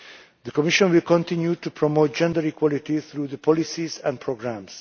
The Commission will continue to promote gender equality through its policies and programmes.